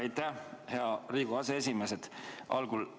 Aitäh, hea Riigikogu aseesimees!